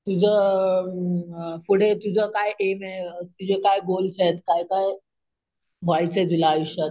तुझ अम पुढे तुझं काय एम आहे ? तुझे काय काय गोल्स आहेत ? काय काय व्हायचंय तुला आयुष्यात ?